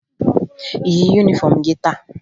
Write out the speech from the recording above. Ị yi yunifọmụ gị taa?